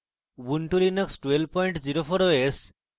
ubuntu linux 1204 os